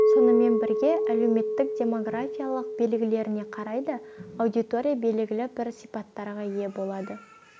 сонымен бірге әлеуметтік демографиялық белгілеріне қарай да аудитория белгілі бір сипаттарға ие болады